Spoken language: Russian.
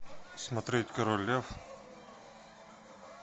смотреть король лев